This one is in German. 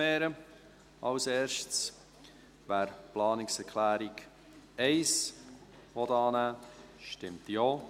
Wer die Planungserklärung 1 annehmen will, stimmt Ja,